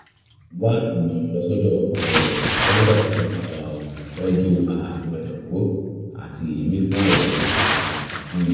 wá ìmọ̀ràn lọ sọ́dọ̀ um dókítà tó ń um tọ́jú ààrùn ẹ̀dọ̀fóró àti èémí fún àlàyé um síi